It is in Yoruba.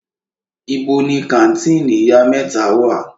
Ibo ni kàńtìnì Ìyá mẹ́ta wà?